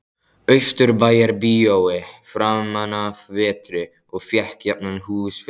Austurbæjarbíói framanaf vetri og fékk jafnan húsfylli.